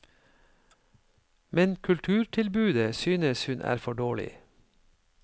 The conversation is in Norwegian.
Men kulturtilbudet synes hun er for dårlig.